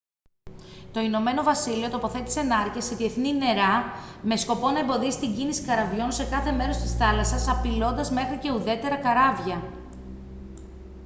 το ηνωμένο βασίλειο τοποθέτησε νάρκες σε διεθνή νερά με σκοπό να εμποδίσει την κίνηση καραβιών σε κάθε μέρος της θάλασσας απειλώντας μέχρι και ουδέτερα καράβια